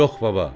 Yox, baba.